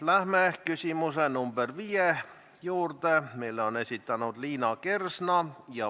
Läheme küsimuse nr 5 juurde, mille on esitanud Liina Kersna.